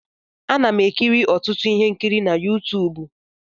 Ana m ekiri ọtụtụ ihe nkiri na Yuutubu.